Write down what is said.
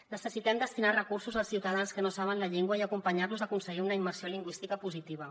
necessitem destinar recursos als ciutadans que no saben la llengua i acompanyar los a aconseguir una immersió lingüística positiva